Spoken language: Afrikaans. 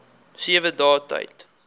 sewe dae tyd